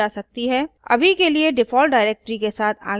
अभी के लिए default directory के साथ आगे बढ़ते हैं